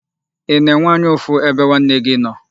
Ị na-enwe anya ụfụ ebe nwanne gị nọ?